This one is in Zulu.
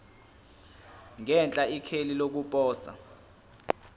ngenhla ikheli lokuposa